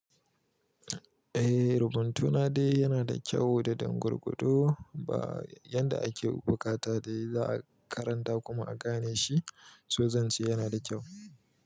Eh, rubuntuna dai yana da kyau dedan gwargwado. Ba yanda ake buƙata dai za a karanta kuma a gane shi, so zan ce yana da kyau.